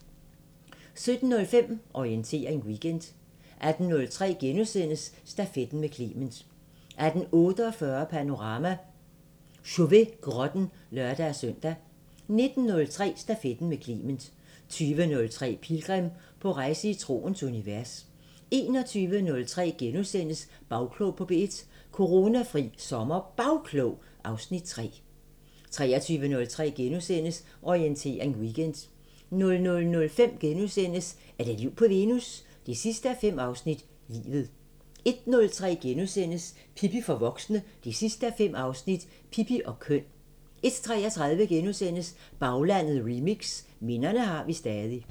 17:05: Orientering Weekend 18:03: Stafetten med Clement * 18:48: Panorama: Chauvet-grotten (lør-søn) 19:03: Stafetten med Clement 20:03: Pilgrim – på rejse i troens univers 21:03: Bagklog på P1: Coronafri SommerBagklog (Afs. 3)* 23:03: Orientering Weekend * 00:05: Er der liv på Venus? 5:5 – Livet * 01:03: Pippi for voksne 5:5 – Pippi og køn * 01:33: Baglandet Remix: Minderne har vi stadig *